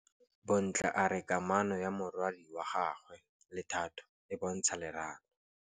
Bontle a re kamanô ya morwadi wa gagwe le Thato e bontsha lerato.